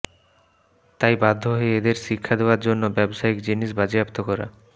তাই বাধ্য হয়ে এঁদের শিক্ষা দেওয়ার জন্য ব্যবসায়িক জিনিস বাজেয়াপ্ত করা